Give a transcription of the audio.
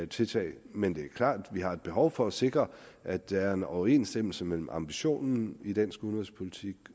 tiltag men det er klart at vi har et behov for at sikre at der er en overensstemmelse mellem ambitionen i dansk udenrigspolitik